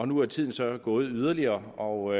nu er tiden så gået yderligere og